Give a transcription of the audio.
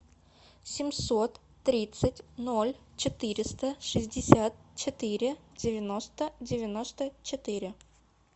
семьсот тридцать ноль четыреста шестьдесят четыре девяносто девяносто четыре